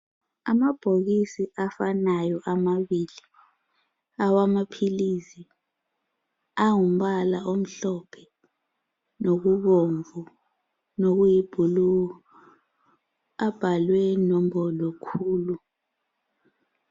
Amabhokisi afanayo amabili awamaphilisi angumbala omhlophe loobomvu, lokuyi blue, abhalwe nombolo khulu.